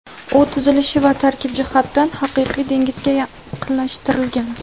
U tuzilishi va tarkibi jihatdan haqiqiy dengizga yaqinlashtirilgan.